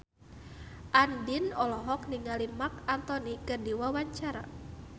Andien olohok ningali Marc Anthony keur diwawancara